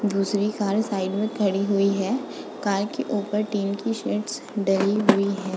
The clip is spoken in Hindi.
दूसरी कार साइड में खड़ी हुई है। कार के ऊपर टीन की शेड्स डली हुई है।